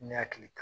Ne hakili